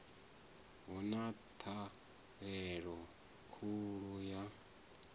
hu na ṱhahelelo khulu ya